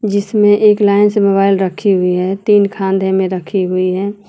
जिसमें एक लाइन से मोबाइल रखी हुई है तीन खान्धे में रखी हुई है।